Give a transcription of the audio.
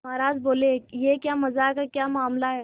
महाराज बोले यह क्या मजाक है क्या मामला है